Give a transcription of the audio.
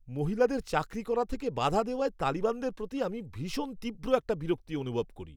মহিলাদের চাকরি করা থেকে বাধা দেওয়ায় তালিবানদের প্রতি আমি ভীষণ তীব্র একটা বিরক্তি অনুভব করি।